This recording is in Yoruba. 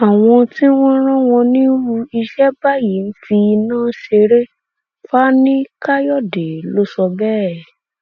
àwọn tí wọn rán wọn nírú iṣẹ báyìí ń fi iná ṣeré fani káyọdé lọ sọ bẹẹ